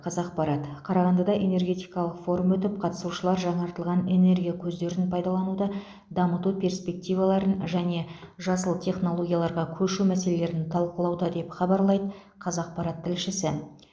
қазақпарат қарағандыда энергетикалық форум өтіп қатысушылар жаңартылатын энергия көздерін пайдалануды дамыту перспективаларын және жасыл технологияларға көшу мәселелерін талқылауда деп хабарлайды қазақпарат тілшісі